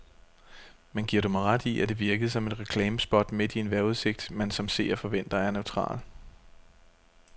Men giver du mig ret i, at det virkede som et reklamespot midt i en vejrudsigt, man som seer forventer er neutral.